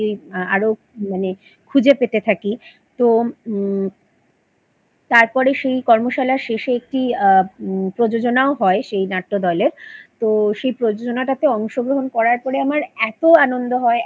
আরো মানে খুঁজে পেতে থাকি তো ম তারপরে সেই কর্মশালার শেষে একটি আ ম প্রযোজনাও হয় সেই নাট্যদলের তো সেই প্রযোজনাটাতে অংশগ্রহণ করার পরে আমার এতো আনন্দ হয় এতো ভালো